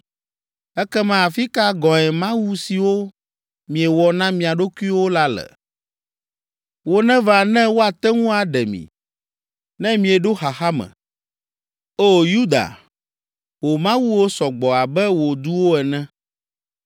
Ekema afi ka gɔ̃e mawu siwo miewɔ na mia ɖokuiwo la le? Woneva ne woate ŋu aɖe mi, ne mieɖo xaxa me! O Yuda, wò mawuwo sɔ gbɔ abe wò duwo ene.”